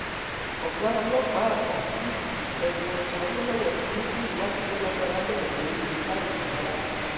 ọgá ọlọpàá àgbà cc edward awolowo ti ní kí ìwádìí tó lágbára bẹrẹ lórí wọn láìpẹ rárá